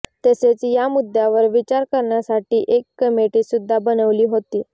तसेच या मुद्द्यावर विचार करण्यासाठी एक कमेटी सुद्धा बनवली होती